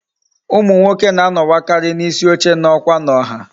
Umu nwoke na anowakari na isi oche na okwa na ọha